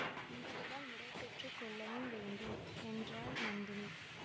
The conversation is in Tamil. உங்களிடம் விடை பெற்று கொள்ளவும் வேண்டும் என்றாள் நந்தினி